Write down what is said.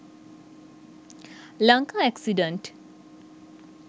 lanka accident